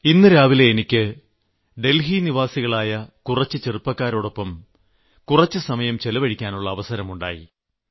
ഇന്ന് രാവിലെ എനിക്ക് ഡൽഹി നിവാസികളായ കുറച്ചു ചെറുപ്പക്കാരോടൊപ്പം ചിലവഴിക്കാനുള്ള അവസരം ഉണ്ടായി